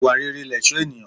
Ìwà rere lẹ̀ṣó ènìyàn.